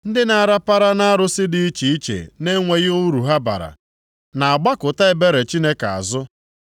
“Ndị na-arapara nʼarụsị dị iche iche na-enweghị uru ha bara, na-agbakụta ebere Chineke azụ.